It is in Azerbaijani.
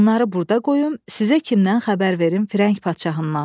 Bunları burda qoyum, sizə kimdən xəbər verim Firəng padşahından.